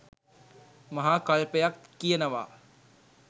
මහා කල්පයක් කියනවා.